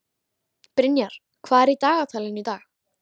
Brynjar, hvað er í dagatalinu í dag?